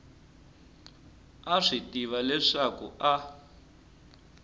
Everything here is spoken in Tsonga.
a swi tiva leswaku a